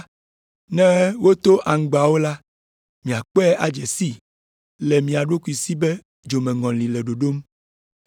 ne woto aŋgbawo la, miakpɔe adze sii le mia ɖokui si be dzomeŋɔli le ɖoɖom.”